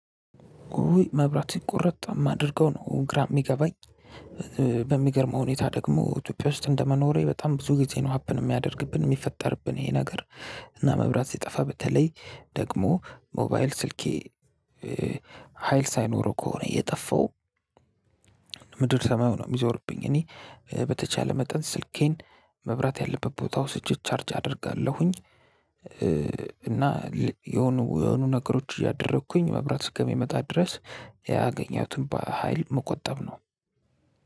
ውይ መብራት ሲቆረጥ ማደረገው ነው ግራ የሚገባኝ በሚገርመው ሁኔታ ደግሞ ኢትዮጵያ ውስጥ እንደመኖሬ በጣም ብዙ ጊዜ ነው ሀፕን የሚያደርግብን የሚፈጠርብን ይሄ ነገር። እና መብራት ሲጠፋ በተለይ ደግሞ ሞባይል ስልኬ ሀይል ሳይኖረው ከሆነ የጠፋው ምድር ሰማዩ ነው የሚዞርብኝ። እኔ በተቻለ መጠን ስልኬን መብራት ያለበት ቦታ ወስጄ ቻርጅ አደርጋለሁኝ። እና የሆኑ የሆኑ ነገሮች እያደረኩኝ መብራት እስከሚመጣ ድረስ ያገኘሁትን በሃይል መቆጠብ ነው።